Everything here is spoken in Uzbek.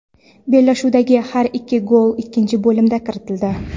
Bellashuvdagi har ikki gol ikkinchi bo‘limda kiritildi.